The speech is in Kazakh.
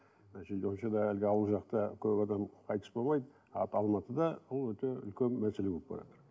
әлгі ауыл жақта көп адам қайтыс болмайды алматыда ол өте үлкен мәселе болып баратыр